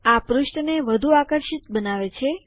આ પૃષ્ઠને વધુ આકર્ષિત બનાવે છે